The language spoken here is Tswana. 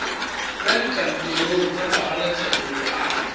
kwa dikantorong tsa pabalesego loago